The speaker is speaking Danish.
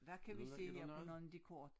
Hvad kan vi se her på nogen af de kort